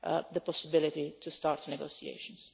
the possibility to start negotiations.